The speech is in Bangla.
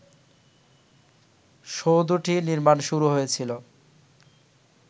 সৌধটি নির্মাণ শুরু হয়েছিল